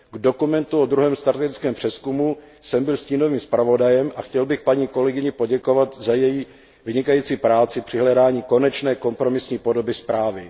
K dokumentu o druhém strategickém přezkumu této politiky jsem byl stínovým zpravodajem a chtěl bych paní kolegyni poděkovat za její vynikající práci při hledání konečné kompromisní podoby zprávy.